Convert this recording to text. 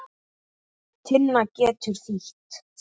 Tinna getur þýtt